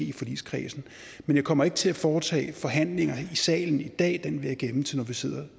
i forligskredsen men jeg kommer ikke til at foretage forhandlinger i salen i dag det vil jeg gemme til vi sidder